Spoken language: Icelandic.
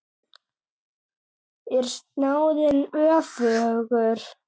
Er snáðinn öfugur?